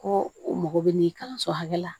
Ko u mago bɛ nin ye kalanso hakɛ la